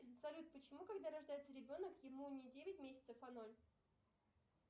салют почему когда рождается ребенок ему не девять месяцев а ноль